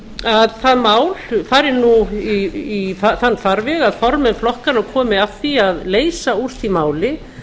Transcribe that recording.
að það mál fari nú þann farveg að formenn flokkanna komi að því að leysa úr því máli